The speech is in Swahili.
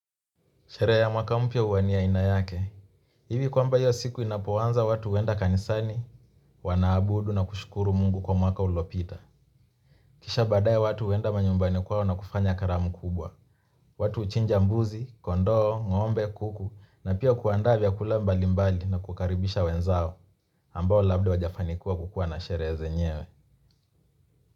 Sherehe ya mwaka mpya huwa ni ya aina yake. Ivi kwamba hiyo siku inapoanza watu huenda kanisani, wanaabudu na kushukuru mungu kwa mwaka uliopita. Kisha baadae watu huenda manyumbani kwao na kufanya karamu kubwa. Watu huchinja mbuzi, kondoo, ngombe, kuku na pia kuandaa vyakula mbali mbali na kukaribisha wenzao. Ambao labda hawajafanikiwa kukua na sherehe zenyewe.